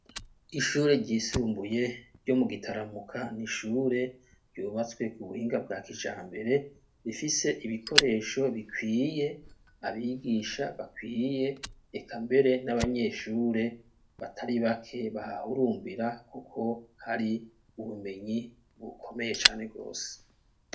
Ishure ryisumbuye ryo mu gitaramuka, nishure ryubatswe ku buhinga bwa kijambere, bifise ibikoresho bikwiye ,abigisha bakwiye ekambere n'abanyeshure batari bake bahurumbira, kuko hari ubumenyi bukomeye cane gose.